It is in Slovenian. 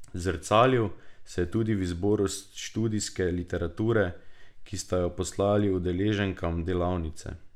Zrcalil se je tudi v izboru študijske literature, ki sta jo poslali udeleženkam delavnice.